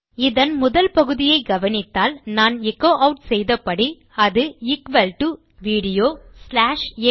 இதன் முதல் பகுதியை கவனித்தால் நான் எச்சோ ஆட் செய்த படி அது equal to video dot AVI